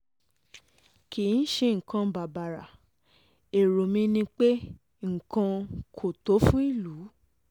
kì í ṣe nǹkan um bàbàrà um bàbàrà èrò mi ni pé um nǹkan kò tó fún ìlú